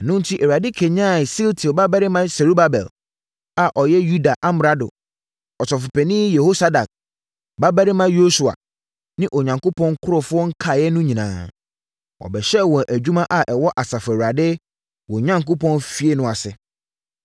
Ɛno enti, Awurade kanyanee Sealtiel babarima Serubabel a ɔyɛ Yuda amrado, Ɔsɔfopanin Yehosadak babarima Yosua ne Onyankopɔn nkurɔfoɔ nkaeɛ no nyinaa. Wɔbɛhyɛɛ wɔn adwuma a ɛwɔ Asafo Awurade, wɔn Onyankopɔn, fie no ase,